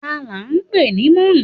Tani án pè ní Mọ́ọ̀kì?